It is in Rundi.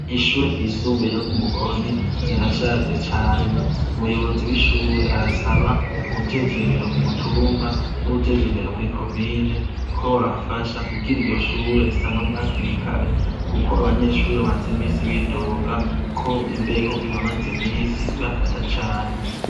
Ishure ry'isumbeye ryo Kumukoni ,rirashaje cane umuyobozi w'ishure arasaba uwujejwe indero ku mutumba n'uwujejwe indero muri komine ko bobafasha kugira iryo Shure risanurwe hakiri kare, kuko abanyeshure bamaz'imisi bidoga ko imbeho imaze imisi ibafata cane.